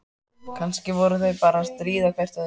Kannski voru þau bara að stríða hvort öðru.